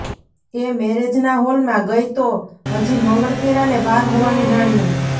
એ મેરેજના હોલમાં ગઈ તો હજી મંગળફેરાને વાર હોવાનું જાણ્યું